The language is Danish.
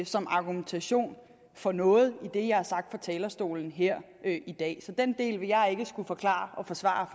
som argumentation for noget i det jeg har sagt fra talerstolen her i dag så den del vil jeg ikke skulle forklare og forsvare